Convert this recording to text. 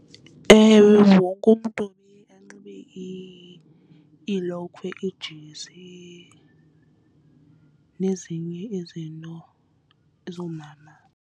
Ewe, wonke umntu funeke anxibe iilokhwe ijezi nezinye izinto zoomama.